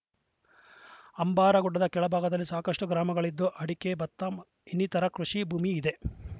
ಅಂಬಾರಗುಡ್ಡದ ಕೆಳಭಾಗದಲ್ಲಿ ಸಾಕಷ್ಟುಗ್ರಾಮಗಳಿದ್ದು ಅಡಿಕೆ ಭತ್ತ ಇನ್ನಿತರೆ ಕೃಷಿ ಭೂಮಿಯೂ ಇದೆ